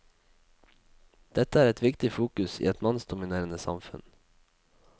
Dette er et viktig fokus i et mannsdominerende samfunn.